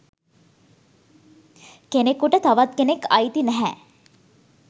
"කෙනෙකුට තවත් කෙනෙක් අයිති නැහැ"